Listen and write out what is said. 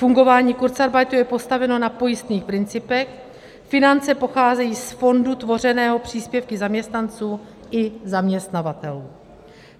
Fungování kurzarbeitu je postaveno na pojistných principech, finance pocházejí z fondu tvořeného příspěvky zaměstnanců i zaměstnavatelů.